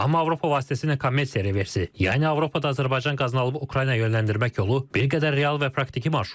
Amma Avropa vasitəsilə kommersiya reversi, yəni Avropada Azərbaycan qazını alıb Ukraynaya yönləndirmək yolu bir qədər real və praktiki marşrutdur.